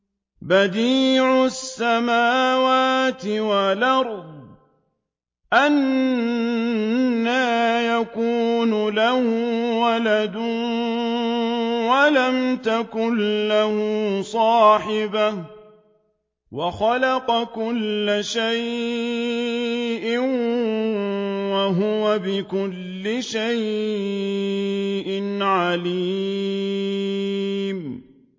بَدِيعُ السَّمَاوَاتِ وَالْأَرْضِ ۖ أَنَّىٰ يَكُونُ لَهُ وَلَدٌ وَلَمْ تَكُن لَّهُ صَاحِبَةٌ ۖ وَخَلَقَ كُلَّ شَيْءٍ ۖ وَهُوَ بِكُلِّ شَيْءٍ عَلِيمٌ